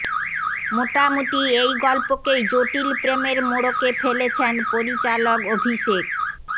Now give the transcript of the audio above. মোটামুটি এই গল্পকেই জটিল প্রেমের মোড়কে ফেলেছেন পরিচালক অভিষেক